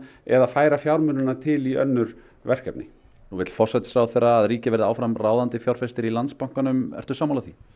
eða færa fjármunina til í önnur verkefni nú vill forsætisráðherra að ríkið verði áfram ráðandi fjárfestir í Landsbankanum ertu sammála því